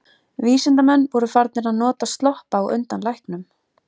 Vísindamenn voru farnir að nota sloppa á undan læknum.